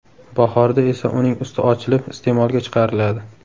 Bahorda esa uning usti ochilib, iste’molga chiqariladi.